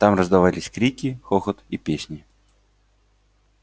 там раздавались крики хохот и песни